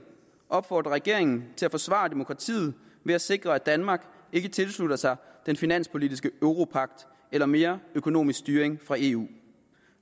opfordrer regeringen til at forsvare demokratiet ved at sikre at danmark ikke tilslutter sig den finanspolitiske europagt eller mere økonomisk styring fra eu